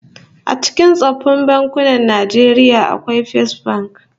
A cikin tsoffin bankunan Najeriya akwai Fesbank